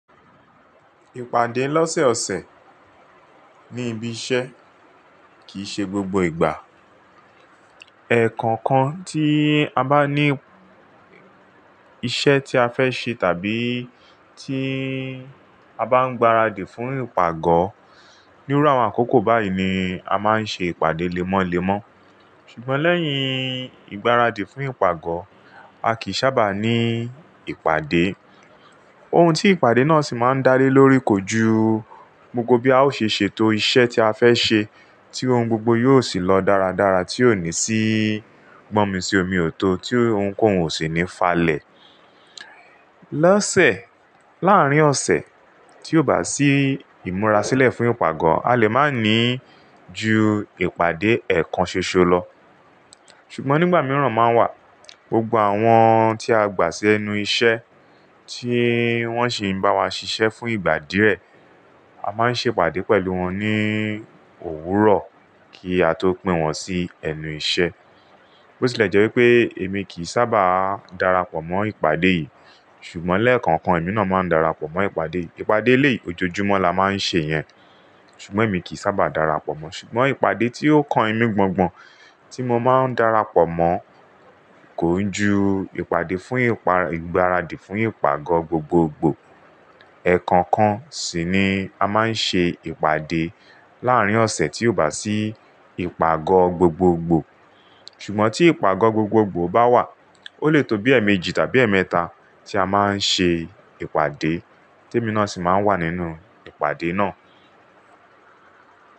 Ìpàdé lọ́sẹ̀ ọ̀sẹ̀ ní ibi iṣẹ́ kìí ṣe gbogbo ìgbà. Ẹ̀ẹ̀kankan tí a bá ní iṣẹ́ tí a fẹ́ ṣe tàbí tí a bá ń gbaradì fún ìpàgọ́, níru àwọn àkókò báyìí ni a máa ń ṣe ìpàdé lémọ́lémọ́. Ṣùgbọ́n lẹ́yìn ìgbáradì fún ìpàgọ́, a kìí sábà ní ìpàdé. Ohun tí ìpàdé náà sì máa ń dárí lórí kò ju gbogbo bí a ó ṣe ṣètò iṣẹ́ tí a fẹ́ ṣe, tí ohun gbogbo yóò sì lọ dáradára tí ò ní sí gbọ́mi-sí-omi-ò-tó, tí ohunkóhun ò sì ní falẹ̀. Lọ́sẹ̀ láàrín ọ̀sẹ̀ tí ò bá sí ìmúra sílẹ̀ fún ìpàgọ́, a lè máa ní ju ìpàdé ẹ̀ẹ̀kan ṣoṣo lọ. Ṣùgbọ́n nígbà mìíràn máa ń wà, gbogbo àwọn tí a gbà sí ẹnu iṣẹ́ tí wọ́n sì ń bá wa ṣiṣẹ́ fún ìgbà díẹ̀, a máa ń ṣe ìpàdé pẹ̀lú wọn ní òwúrọ̀ kí a tó pín wọn sí ẹnu iṣẹ́. Bó tilẹ̀ jẹ́ wípé èmi kì í sábà darapọ̀ mọ́ ìpàdé yìí, ṣùgbọ́n lẹ́ẹ̀kọ̀kan èmi náà máa ń darapọ̀ mọ́ ìpàdé yì. Ìpàdé èléyì ojoojúmọ́ la máa ń ṣe yẹn, ṣùgbọ́n èmi kì í sábà darapọ̀ mọ́. Ṣùgbọ́n ìpàdé tí ó kan emí gbọ̀ngbọ̀n tí mo máa ń darapọ̀ mọ́ kò ń ju ìpàdé fún ìgbáradì fún ìpàgọ́ gbogbogbò. Ẹ̀ẹ̀kọ̀kan sì ni a máa ń ṣe ìpàdé láàrín ọ̀sẹ̀ tí ò bá sí ìpàgọ́ gbogbogbò. Ṣùgbọ́n tí ìpàgọ́ gbogbogbò bá wà, ó lè tó bí ẹ̀ẹ̀méjì tàbí ẹ̀ẹ̀mẹ́ta tí a máa ń ṣe ìpàdé tí èmi náà sì máa ń wà nínú ìpàdé náà.